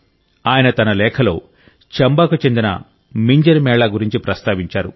ఆయన తన లేఖలో చంబాకు చెందిన మింజర్ మేళా గురించి ప్రస్తావించారు